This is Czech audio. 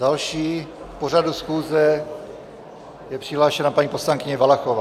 Další k pořadu schůze je přihlášena paní poslankyně Valachová.